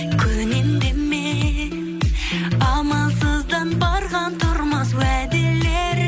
көнем деме амалсыздан барған тұрмас уәделер